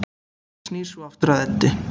Snýr svo aftur að Eddu.